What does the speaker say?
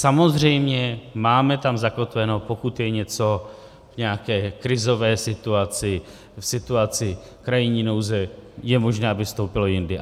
Samozřejmě máme tam zakotveno, pokud je něco v nějaké krizové situaci, v situaci krajní nouze, je možné, aby vstoupilo jindy.